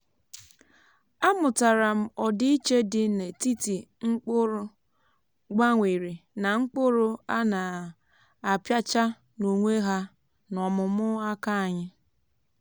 amụtara m ọdịiche dị n’etiti mkpụrụ gbanwere na mkpụrụ a na-apịacha n’onwe ha n’ọmụmụ aka anyị.